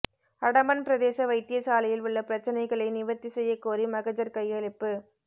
அடம்பன் பிரதேச வைத்தியசாலையில் உள்ள பிரச்சினைகளை நிவர்த்தி செய்ய கோரி மகஜர் கையளிப்பு